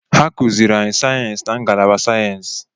Ha kụziiri anyị sayensị na ngalaba sayensị.